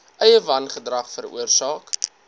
eie wangedrag veroorsaak